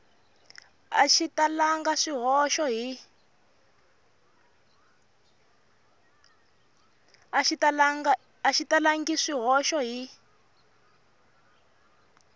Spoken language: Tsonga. a xi talangi swihoxo hi